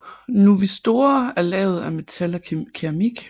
Nuvistorer er lavet af metal og keramik